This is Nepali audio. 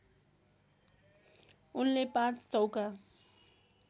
उनले पाँच चौका